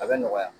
A bɛ nɔgɔya